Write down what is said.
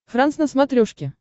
франс на смотрешке